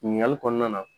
Ɲininkali kɔnɔna na